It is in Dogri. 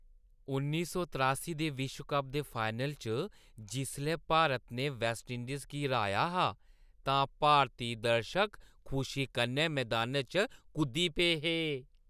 उन्नी सौ तरेआसी दे विश्व कप दे फाइनल च जिसलै भारत ने वैस्टइंडीज गी र्‌हाया हा तां भारती दर्शक खुशी कन्नै मदान च कुद्दी पे हे।